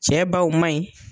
Cɛ baw man ɲi